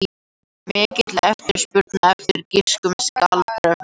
Mikil eftirspurn eftir grískum skuldabréfum